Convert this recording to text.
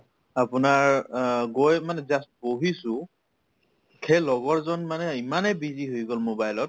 আপোনাৰ অ গৈ মানে just বহিছো সেই লগৰজন মানে ইমানেই busy হৈ গল mobile ত